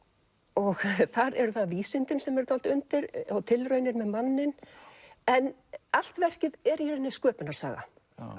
og þar eru það vísindin sem eru dálítið undir og tilraunir með manninn en allt verkið er í rauninni sköpunarsaga